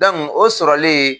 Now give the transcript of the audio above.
Dɔnki o sɔrɔlen